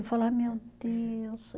Eu falo, ai meu Deus.